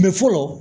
fɔlɔ